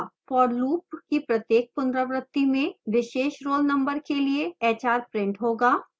for loop की प्रत्येक पुनरावृति में विशेष roll number के लिए hra printed होगा